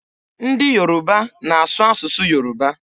Ndị Yoruba na-asụ asụsụ Yoruba.